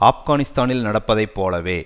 ஆப்கானிஸ்தானில் நடப்பதை போலவே